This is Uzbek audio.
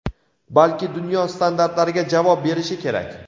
balki dunyo standartlariga javob berishi kerak.